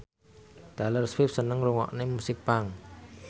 Taylor Swift seneng ngrungokne musik punk